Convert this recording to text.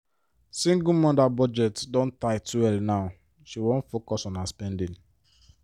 single mother budget don tight well now she won focus on her spending.